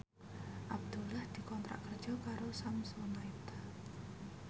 Abdullah dikontrak kerja karo Samsonite